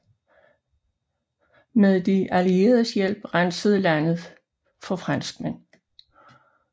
Med de allieredes hjælp rensedes landet for franskmænd